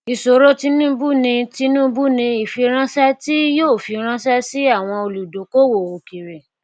ìṣòro tinubu ni tinubu ni ìfiranṣẹ tí yóò fi ránṣẹ sí àwọn olùdókowò òkèèrè